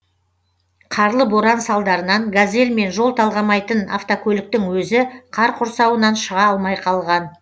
қарлы боран салдарынан газель мен жол талғамайтын автокөліктің өзі қар құрсауынан шыға алмай қалған